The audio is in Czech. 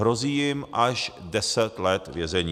Hrozí jim až 10 let vězení.